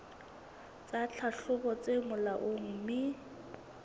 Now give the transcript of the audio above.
tsa tlhahlobo tse molaong mme